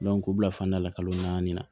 k'u bila fanda la kalo naani na